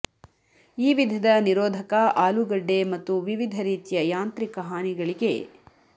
ಈ ವಿಧದ ನಿರೋಧಕ ಆಲೂಗಡ್ಡೆ ಮತ್ತು ವಿವಿಧ ರೀತಿಯ ಯಾಂತ್ರಿಕ ಹಾನಿಗಳಿಗೆ